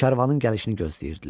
Karvanın gəlişini gözləyirdilər.